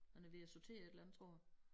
Han er ved at sortere et eller andet tror jeg